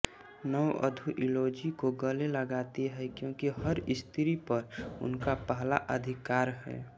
नववधू इलोजी को गले लगाती हैं क्योंकि हर स्त्री पर उनका पहला अधिकार है